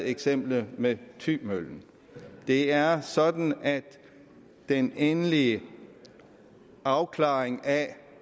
eksemplet med thymøllen det er sådan at den endelige afklaring af